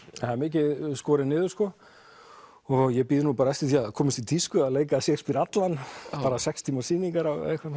það er mikið skorið niður sko og ég bíð bara eftir því að það komist í tísku að leika Shakespeare allan bara sex tíma sýningar